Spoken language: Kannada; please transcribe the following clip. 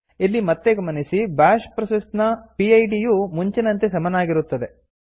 ಇಲ್ಲಿ ಮತ್ತೆ ಗಮನಿಸಿ ಬ್ಯಾಷ್ ಪ್ರೋಸೆಸ್ ನ ಪಿಡ್ ಯು ಮುಂಚಿನಂತೆ ಸಮನಾಗಿರುತ್ತದೆ